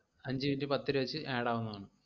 അഞ്ച് minute പത്തുരൂപ വെച്ച് add ആവുന്നതാണ്.